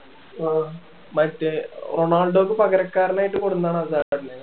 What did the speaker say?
മറ്റേ റൊണാൾഡോയ്ക്ക് പകരക്കാരൻ ആയിട്ട് കൊണ്ട് വന്നതാണ് ഹസാഡിനെ